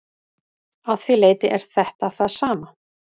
Að því leyti er þetta það sama.